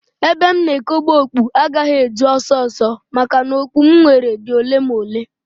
Ebe m na ekobe okpu agaghị eju ọsọ ọsọ maka na okpu m nwere dị ole na ole